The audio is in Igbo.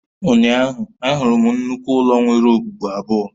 Ụnyaahụ, ahụrụ m nnukwu ụlọ nwere okpukpu abụọ